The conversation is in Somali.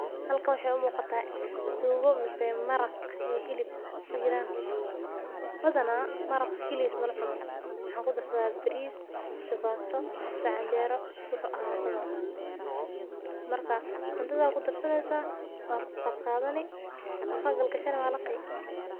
Halkan waxee u muqataa sugo ama maraq badana waxaa lagu darsadha cundhata afka aya gagashani waa laqi sas ayey muhiim ogu tahay dadka in ee san u diyariyan.